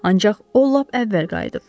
Ancaq o lap əvvəl qayıdıb.